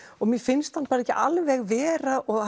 mér finnst hann ekki alveg vera og